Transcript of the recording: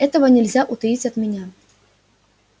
этого нельзя утаить от меня